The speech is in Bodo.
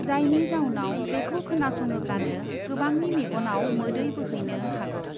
जायनि जाउनाव बेखौ खोनासङोब्लानो गोबांनि मेगनआव मोदै बोहैनो हागौ।